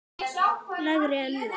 lægri en nú.